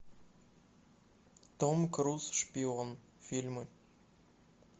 том круз шпион фильмы